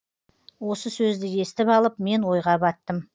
осы сөзді естіп алып мен ойға баттым